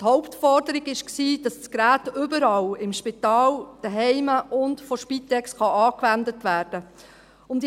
Die Hauptforderung war, dass das Gerät überall, im Spital, zu Hause und von der Spitex, angewendet werden kann.